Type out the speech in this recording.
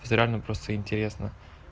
всё равно просто интересно